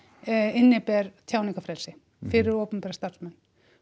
inniber tjáningarfrelsi fyrir opinbera starfsmenn